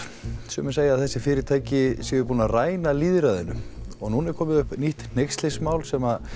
sumir segja að þessi fyrirtæki séu búin að ræna lýðræðinu og núna er komið upp nýtt hneykslismál sem